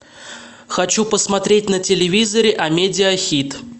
хочу посмотреть на телевизоре амедиа хит